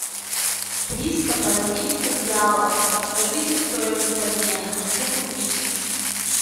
триста бразильских реалов подскажите стоимость обмена хочу купить